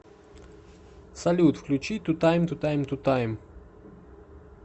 салют включи тутаймтутаймтутайм